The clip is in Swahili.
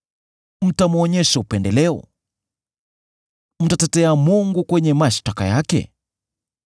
Mtamwonyesha upendeleo? Mtamtetea Mungu kwenye mashtaka yake?